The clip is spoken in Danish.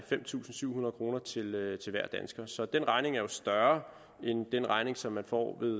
fem tusind syv hundrede kroner til hver dansker så den regning er jo større end den regning som man får med